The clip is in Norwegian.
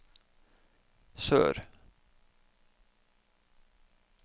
sør